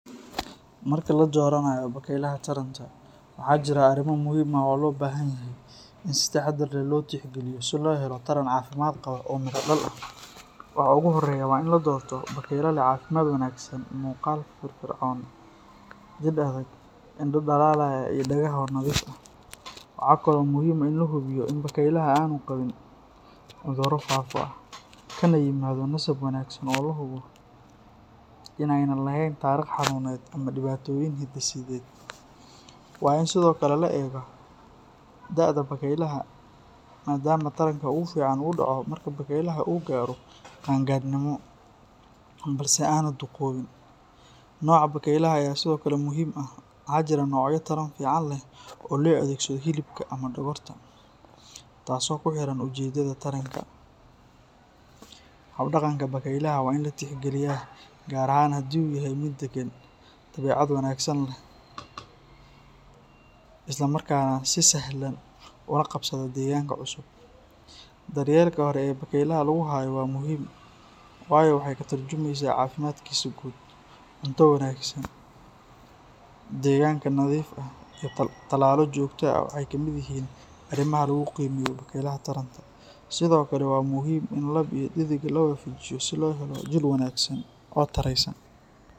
Marka la dooranayo bakaylaha taranta, waxaa jira arrimo muhiim ah oo loo baahan yahay in si taxadar leh loo tixgeliyo si loo helo taran caafimaad qaba oo miro-dhal ah. Waxa ugu horreeya waa in la doorto bakayle leh caafimaad wanaagsan, muuqaal firfircoon, jidh adag, indho dhalaalaya, iyo dhagaha oo nadiif ah. Waxa kale oo muhiim ah in la hubiyo in bakaylaha aanu qabin cudurro faafo ah, kana yimaaddo nasab wanaagsan oo la hubo in aanay lahayn taariikh xanuuneed ama dhibaatooyin hidde-sideed. Waa in sidoo kale la eega da'da bakaylaha, maadaama taranka ugu fiican uu dhaco marka bakaylaha uu gaaro qaangaadhnimo, balse aanu duqoobin. Nooca bakaylaha ayaa sidoo kale muhiim ah; waxaa jira noocyo taran fiican leh oo loo adeegsado hilibka ama dhogorta, taas oo ku xidhan ujeeddada taranka. Hab-dhaqanka bakaylaha waa in la tixgeliyaa, gaar ahaan haddii uu yahay mid daggan, dabeecad wanaagsan leh, isla markaana si sahlan ula qabsada deegaanka cusub. Daryeelka hore ee bakaylaha lagu hayo waa muhiim, waayo waxay ka tarjumaysaa caafimaadkiisa guud. Cunto wanaagsan, deegaanka nadiif ah, iyo tallaallo joogto ah waxay ka mid yihiin arrimaha lagu qiimeeyo bakaylaha taranta. Sidoo kale, waa muhiim in lab iyo dhedig la is waafajiyo si loo helo jiil wanaagsan oo tayeysan.